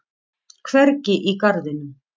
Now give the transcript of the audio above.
Hvergi í garðinum.